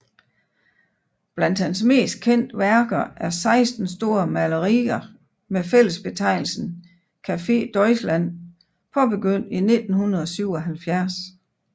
Blandt hans mest kendte værker er 16 store malerier med fællesbetegnelsen Café Deutschland påbegyndt i 1977